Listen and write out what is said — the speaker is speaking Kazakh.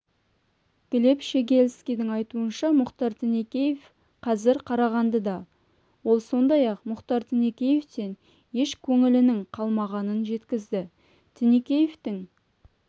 глеб щегельскийдің айтуынша мұхтар тінікеев қазір қарағандыда ол сондай-ақ мұхтар тінікеевтен еш көңілінің қалмағанын жеткізді тінікеевтің